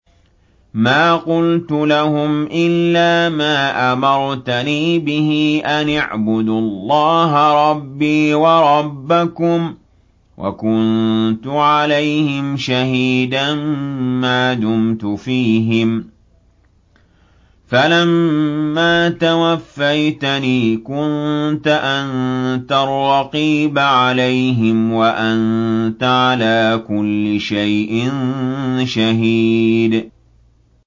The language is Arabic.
مَا قُلْتُ لَهُمْ إِلَّا مَا أَمَرْتَنِي بِهِ أَنِ اعْبُدُوا اللَّهَ رَبِّي وَرَبَّكُمْ ۚ وَكُنتُ عَلَيْهِمْ شَهِيدًا مَّا دُمْتُ فِيهِمْ ۖ فَلَمَّا تَوَفَّيْتَنِي كُنتَ أَنتَ الرَّقِيبَ عَلَيْهِمْ ۚ وَأَنتَ عَلَىٰ كُلِّ شَيْءٍ شَهِيدٌ